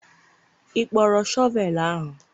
ị kpọrọ shọvel ahụ?